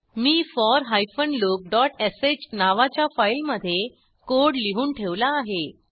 मी for loopश नावाच्या फाईलमधे कोड लिहून ठेवला आहे